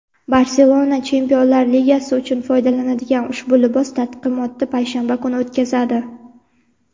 "Barselona" Chempionlar ligasi uchun foydalaniladigan ushbu libos taqdimotini payshanba kuni o‘tkazadi.